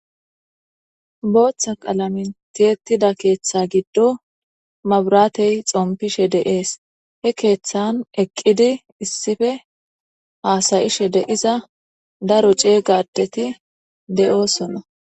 Booththa qalamen tiyettida keeththa giddon mabirattey xompishe de'es he keeththanhassayishe de'iza daro cegga addeti de'iossonna.